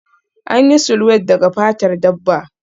An yi sulwed daga fatar dabba